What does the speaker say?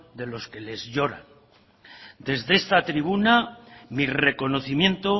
de los que lloran desde esta tribuna mi reconocimiento